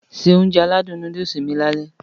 Se Ounjẹ aládùn nóódùsì mi lálẹ́